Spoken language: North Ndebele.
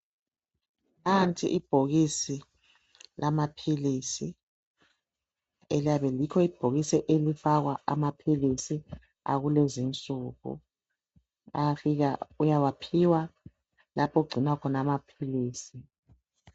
Nanti ibhokisi lama philisi. Yikho ibhokisi elifakwa amaphilisi akulezi insuku. Angafika uyawaphiwa lapho okugcinwa khona amaphilisi.